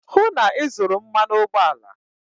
hụ na ị zụrụ mmanụ ụgbọala!